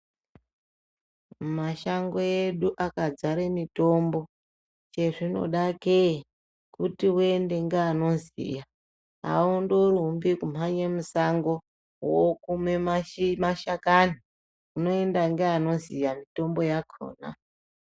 Mashango edu akadzare mitombo. Chezvinoda kee kuti uenda ngeanoziya. Aundorumbi ngekumhanya mushango wookuma mashakani. Unondoenda ngeanoziya mitombo yakhona.